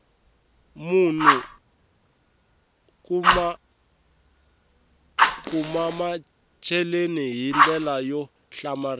munhu u kumamacheleni hi ndlela yo hlamarisa